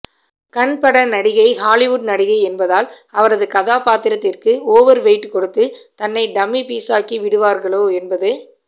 கண் பட நடிகை ஹாலிவுட் நடிகை என்பதால் அவரது கதாபாத்திரத்திற்கு ஓவர் வெயிட் கொடுத்து தன்னை டம்மி பீஸாக்கிவிடுவார்களோ என்பது